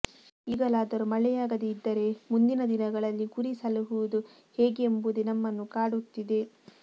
ಈಗಲಾದರೂ ಮಳೆಯಾಗದೇ ಇದ್ದರೆ ಮುಂದಿನ ದಿನಗಳಲ್ಲಿ ಕುರಿ ಸಲುಹುವುದು ಹೇಗೆ ಎಂಬುದೇ ನಮ್ಮನ್ನು ಕಾಡುತ್ತಿದೆ